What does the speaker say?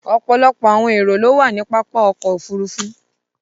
Ọpọlọpọ̀ awọn ẹro ló wà ni pápá ọkọ̀ òfurufú.